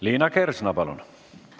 Liina Kersna, palun!